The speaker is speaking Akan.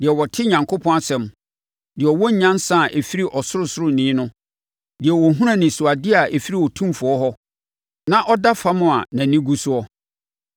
deɛ ɔte Onyankopɔn asɛm; deɛ ɔwɔ nyansa a ɛfiri Ɔsorosoroni no deɛ ɔhunu anisoadeɛ a ɛfiri Otumfoɔ hɔ; na ɔda fam, a nʼani gu so: